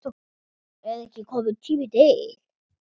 Er ekki kominn tími til?